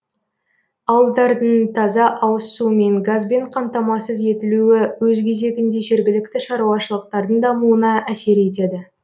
ауылдардың таза ауыз суымен газбен қамтамасыз етілуі өз кезегінде жергілікті шаруашылықтардың дамуына әсер етеді